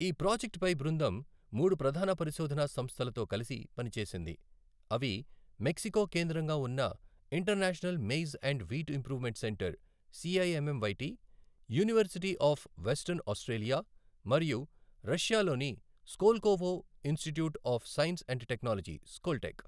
ఈ ప్రాజెక్ట్పై బృందం మూడు ప్రధాన పరిశోధనా సంస్థలతో కలిసి పనిచేసింది, అవి మెక్సికో కేంద్రంగా ఉన్న International Maize and Wheat Improvement Centre, CIMMYT, University of Western Australia, మరియు రష్యాలోని Skolkovo Institute of Science and Technology, Skoltech.